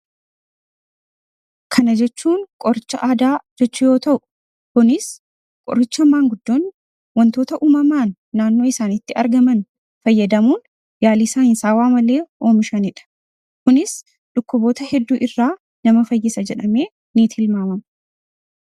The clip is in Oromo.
Kana jechuun qoricha aadaa jechuu yoo ta'u, kunis qoricha manguddoonni qoricha uumamaan naannoo isaaniitti argaman fayyadamuun yaalii saayinsawaa malee oomishanidha. Kunis dhukkuboota hedduurraa nama fayyisa jedhamee ni tilmaamama.